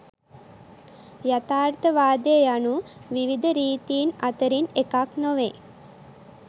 යථාර්ථවාදය යනු විවිධ රීතීන් අතරින් එකක් නොවේ.